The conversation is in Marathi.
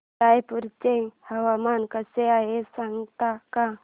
रायपूर चे हवामान कसे आहे सांगता का